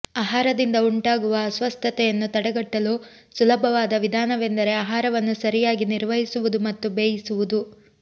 ಆಹಾರದಿಂದ ಉಂಟಾಗುವ ಅಸ್ವಸ್ಥತೆಯನ್ನು ತಡೆಗಟ್ಟಲು ಸುಲಭವಾದ ವಿಧಾನವೆಂದರೆ ಆಹಾರವನ್ನು ಸರಿಯಾಗಿ ನಿರ್ವಹಿಸುವುದು ಮತ್ತು ಬೇಯಿಸುವುದು